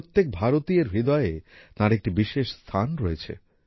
প্রত্যেক ভারতীয়ের হৃদয়ে তাঁর একটি বিশেষ স্থান রয়েছে